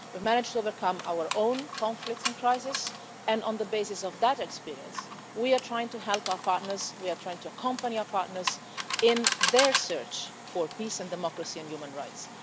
history. We've managed to overcome our own conflicts and crises and, on the basis of that experience, we are trying to help our partners, we are trying to accompany our partners, in their search for peace and democracy and human